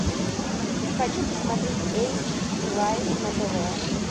хочу посмотреть эйч ди лайф на тв